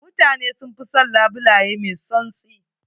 Mutane sun fi son labule mai tsantsi.